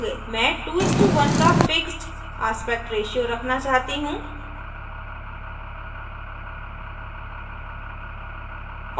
मैं 2:1 का fixed aspect ratio fixed aspect ratio रखना चाहती हूँ